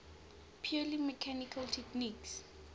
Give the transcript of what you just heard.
purely mechanical techniques